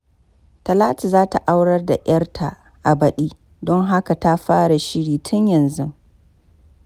Talatu za ta aurar da ‘yarta a baɗi, don haka ta fara shiri tun yanzu.